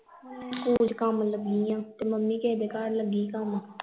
school ਚ ਕੰਮ ਲੱਗੀ ਆ ਤੇ ਮੰਮੀ ਕਿਸੇ ਦੇ ਘਰ ਲੱਗੀ ਕੰਮ